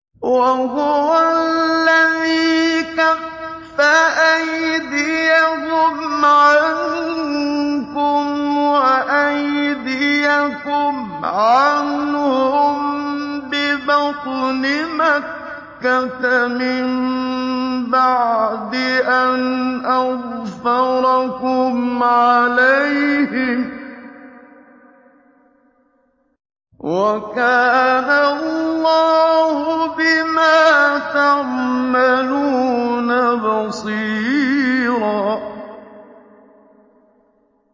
وَهُوَ الَّذِي كَفَّ أَيْدِيَهُمْ عَنكُمْ وَأَيْدِيَكُمْ عَنْهُم بِبَطْنِ مَكَّةَ مِن بَعْدِ أَنْ أَظْفَرَكُمْ عَلَيْهِمْ ۚ وَكَانَ اللَّهُ بِمَا تَعْمَلُونَ بَصِيرًا